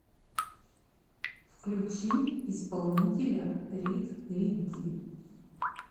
включи исполнителя рид ридди